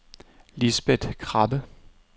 Lisbeth Krabbe